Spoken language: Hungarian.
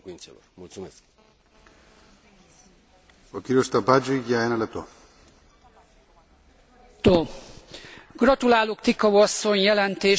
Gratulálok Ticau asszony jelentéséhez és az irányelvhez, ugyanakkor annyit ér ez az irányelv, mint döglött lovon a patkó, ha nincs hozzá pénz.